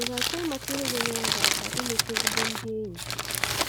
Ị̀ ga - achọ ịmata ihe ga - nyere gị aka imete ezigbo ndị enyi?